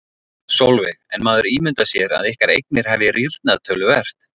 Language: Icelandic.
Sólveig: En maður ímyndar sér að ykkar eignir hafi rýrnað töluvert?